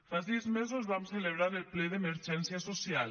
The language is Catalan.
fa sis mesos vam celebrar el ple d’emergència social